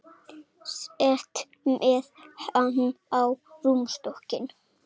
Sest með hann á rúmstokkinn.